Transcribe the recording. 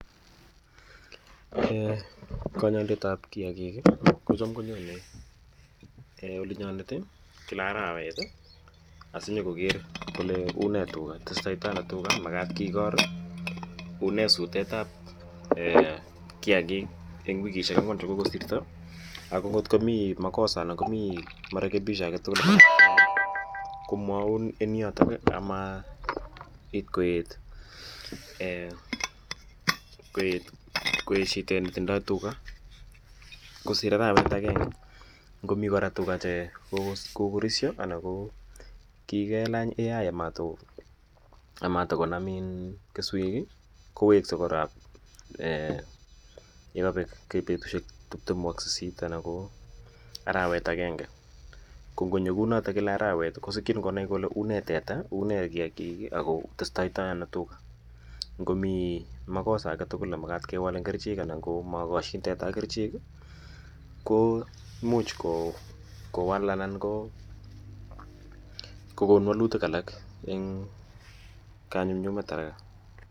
konyoidetab kiagik iih um kocham konyone olinyonet iih kila araweet asinyagoger kole unee tuga, testoi ono tuga magaat kigoor iih unee suteet ab kiagik en wigishek angwaan chegogosirto, ago kot komii magosa anan ko marekebisho agetugul komwoun en yoton iih amaiit koet, koet shideet netindoo tuga, ngosiir araweet agenge komii kora tuga che kogorisyo anan koo kigelaany artificial intelligence amatagonaam kesweek iih, koweske koraa yegobeek betushek tiptemu ak sisit anan koo kila araweet agenge, ko ngonyo kouu notoon kila araweet kosikyiin konaai kole unee teta unee kiagiik ak kotestaano tuga, ngomii magosa agetugul nemagat kewaal kerichek anan komogosyiin teta ak kericheek iih, ko imuch kowaal anan kogoon magutik alak een kanyunyumet araka.